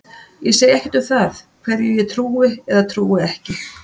Ég segi ekkert um það hverju ég trúi eða trúi ekki.